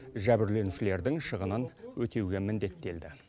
жәбірленушілердің шығынын өтеуге міндеттелді